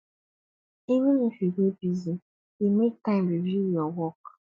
even if you dey busy dey make time review your work